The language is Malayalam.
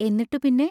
എന്നിട്ടു പിന്നെ?